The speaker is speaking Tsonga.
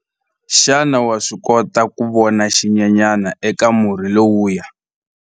Xana wa swi kota ku vona xinyenyana eka murhi lowuya?